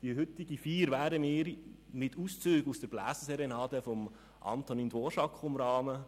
Die heutige Feier werden wir mit Auszügen aus der Bläserserenade von Antonín Dvořák umrahmen.